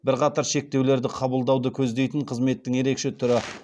бірқатар шектеулерді қабылдауды көздейтін қызметтің ерекше түрі